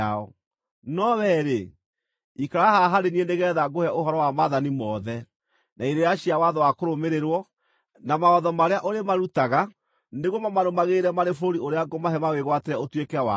No wee-rĩ, ikara haha harĩ niĩ nĩgeetha ngũhe ũhoro wa maathani mothe, na irĩra cia watho wa kũrũmĩrĩrwo, na mawatho marĩa ũrĩmarutaga nĩguo mamarũmagĩrĩre marĩ bũrũri ũrĩa ngũmahe mawĩgwatĩre ũtuĩke wao.”